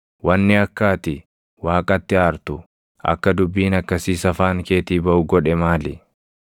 Wanni akka ati Waaqatti aartu, akka dubbiin akkasiis afaan keetii baʼu godhe maali?